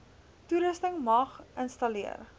toerusting mag installeer